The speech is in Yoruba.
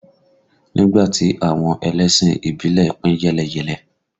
Nígbà tí àwọn ẹlẹ́sìn ìbílẹ̀ pín yẹ́lẹyẹ̀lẹ